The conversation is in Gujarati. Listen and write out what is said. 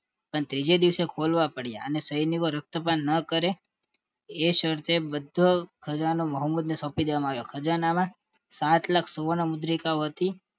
પણ ત્રીજે દિવસે ખોલવા પડ્યા અને સૈનિકો રકતપાન ન કરે શરતે બધો ખજાનો મોહમ્મદ ને સોંપી દેવામાં આવ્યો હતો ખજાનમાં સાત લાખ સુવર્ણ મુદ્રિકાઓ હતી